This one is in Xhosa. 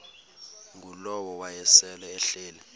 ngulowo wayesel ehleli